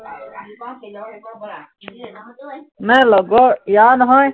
মানে লগৰ, ইয়াৰ নহয়